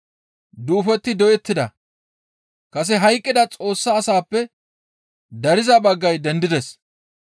Duufoti doyettida; kase hayqqida Xoossa asaappe dariza baggay dendides.